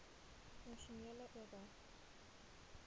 funksionele oba